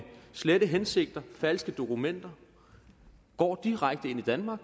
slette hensigter falske dokumenter går direkte ind i danmark